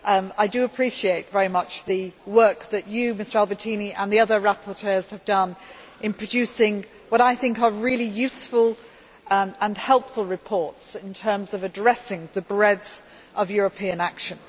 I do appreciate very much the work that you, Mr Albertini, and the other rapporteurs have done in producing what I think are really useful and helpful reports in terms of addressing the breadth of European action.